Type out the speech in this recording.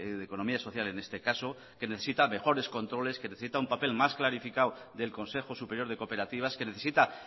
de economía social en este caso que necesita mejores controles que necesita un papel más clarificado del consejo superior de cooperativas que necesita